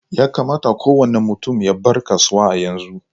Yakamata kowani mutum ya bar kasuwa a yanzu.